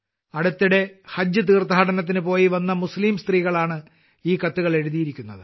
അടുത്തിടെ ഹജ്ജ് തീർത്ഥാടനത്തിന് പോയിവന്ന മുസ്ലീം സ്ത്രീകളാണ് ഈ കത്തുകൾ എഴുതിയിരിക്കുന്നത്